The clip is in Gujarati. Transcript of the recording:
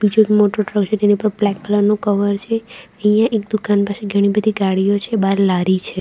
જે મોટો ટ્રક છે એની ઉપર બ્લેક કલર નું કવર છે અહીંયા એક દુકાન પાસે ઘણી બધી ગાડીઓ છે બહાર લારી છે.